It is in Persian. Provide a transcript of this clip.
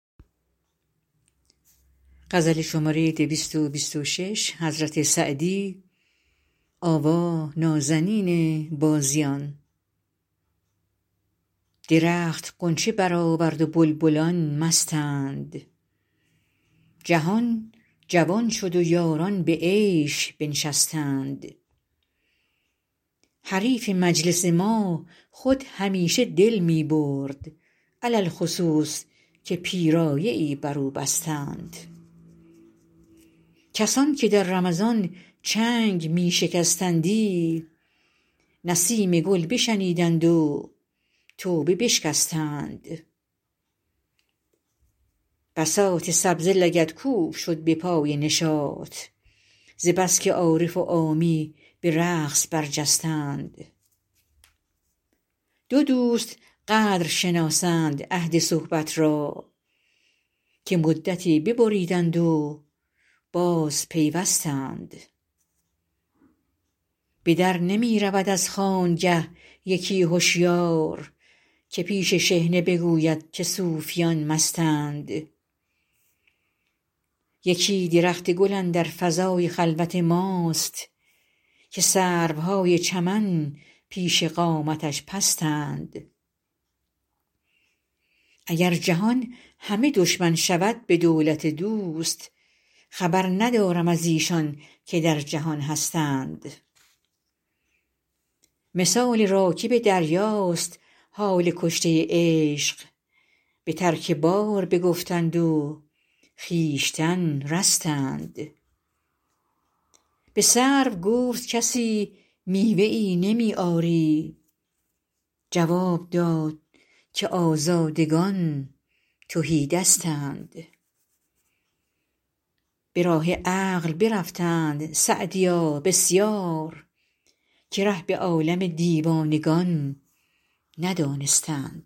درخت غنچه برآورد و بلبلان مستند جهان جوان شد و یاران به عیش بنشستند حریف مجلس ما خود همیشه دل می برد علی الخصوص که پیرایه ای بر او بستند کسان که در رمضان چنگ می شکستندی نسیم گل بشنیدند و توبه بشکستند بساط سبزه لگدکوب شد به پای نشاط ز بس که عارف و عامی به رقص برجستند دو دوست قدر شناسند عهد صحبت را که مدتی ببریدند و بازپیوستند به در نمی رود از خانگه یکی هشیار که پیش شحنه بگوید که صوفیان مستند یکی درخت گل اندر فضای خلوت ماست که سروهای چمن پیش قامتش پستند اگر جهان همه دشمن شود به دولت دوست خبر ندارم از ایشان که در جهان هستند مثال راکب دریاست حال کشته عشق به ترک بار بگفتند و خویشتن رستند به سرو گفت کسی میوه ای نمی آری جواب داد که آزادگان تهی دستند به راه عقل برفتند سعدیا بسیار که ره به عالم دیوانگان ندانستند